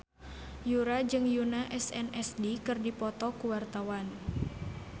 Yura jeung Yoona SNSD keur dipoto ku wartawan